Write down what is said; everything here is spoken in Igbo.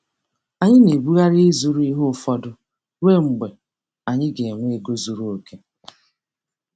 Anyị na-ebugharị ịzụrụ ihe ụfọdụ ruo mgbe anyị ga-enwe ego zuru oke.